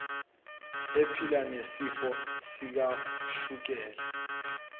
ephila nesifo sikashukela